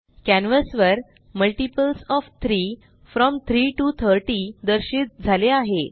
canvas वर multiples O F 3 from 3 T O 30 दर्शित झाले आहे